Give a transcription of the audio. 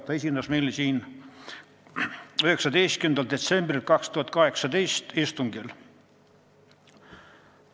Ta esines meile 19. detsembri istungil.